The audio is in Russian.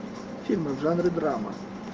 фильмы в жанре драма